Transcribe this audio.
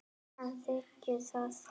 Hann þiggur það.